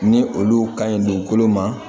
Ni olu ka ɲi dugukolo ma